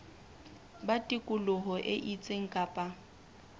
ba tikoloho e itseng kapa